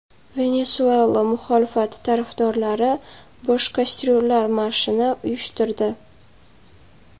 Venesuela muxolifati tarafdorlari bo‘sh kastryullar marshini uyushtirdi.